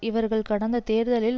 இவர்கள் கடந்த தேர்தலில்